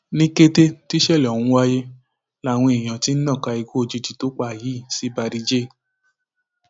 ní kété tí ìṣẹlẹ ọhún wáyé làwọn èèyàn ti ń nàka ikú òjijì tó pa á yìí sí barry jhay